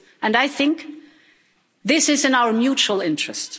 And I think this is in our mutual interest.